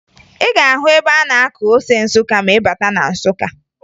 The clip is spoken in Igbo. Ị ga-ahụ ebe a na-akụ ose Nsụka ma ị bata na Nsụka